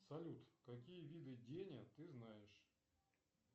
салют какие виды денег ты знаешь